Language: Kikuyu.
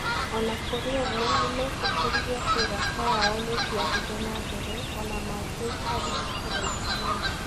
O na kũrĩ ũguo, nĩ meetĩkĩrire atĩ ũrata wao nĩ ũngĩathire na mbere o na mangĩaikarire kũraihu mũno.